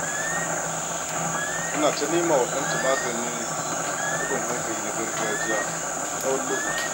Tana ta nema wa ɗanta maganin taɓin hankali na gargajiya tsawon lokaci.